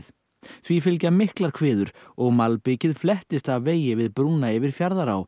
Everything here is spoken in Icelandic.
því fylgja miklar og malbikið flettist af vegi við brúna yfir Fjarðará